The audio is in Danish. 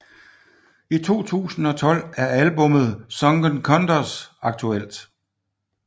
I 2012 er albummet Sunken Condos aktuelt